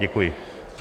Děkuji.